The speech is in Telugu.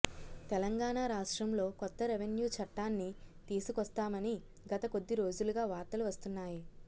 తెలంగాణ రాష్ట్రంలో కొత్త రెవెన్యు చట్టాన్ని తీసుకొస్తామని గత కొద్దీ రోజులుగా వార్తలు వస్తున్నాయి